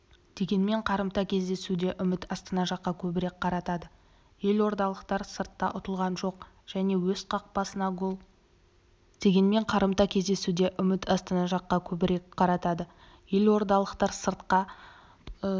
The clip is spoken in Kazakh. дегенмен қарымта кездесуде үміт астана жаққа көбірек қаратады елордалықтар сыртта ұтылған жоқ және өз қақпасына гол